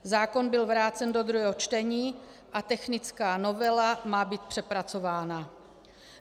Zákon byl vrácen do druhého čtení a technická novela má být přepracována.